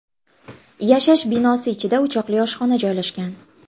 Yashash binosi ichida o‘choqli oshxona joylashgan.